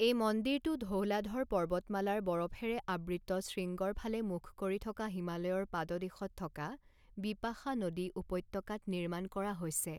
এই মন্দিৰটো ধৌলাধৰ পৰ্বতমালাৰ বৰফেৰে আবৃত শৃংগৰ ফালে মুখ কৰি থকা হিমালয়ৰ পাদদেশত থকা বিপাশা নদী উপত্যকাত নিৰ্মাণ কৰা হৈছে।